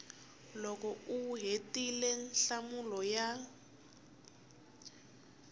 loko u hetile nhlamulo ya